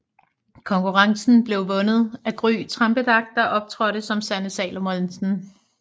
Konkurrencen blev vundet af Gry Trampedach der optrådte som Sanne Salomonsen